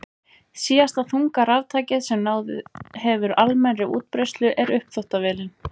Síðasta þunga raftækið sem náð hefur almennri útbreiðslu er uppþvottavélin.